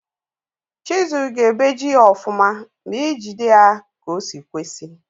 Chisul ga ebeji ihe ọfụma ma ijide ya ka osi kwesi.